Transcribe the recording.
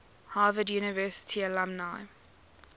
harvard university alumni